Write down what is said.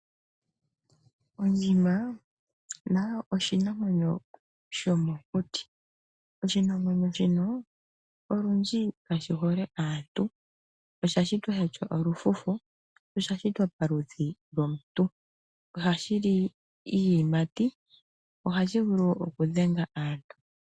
Ondjima nayo oshinamwenyo shomokuti. Oshinamwenyo shino olundji kashi hole aantu. Osha shitwa sha tya olufufu, osha shitwa paludhi lwomuntu. Ohashi li iiyimati. Ohashi vulu okudhenga aantu.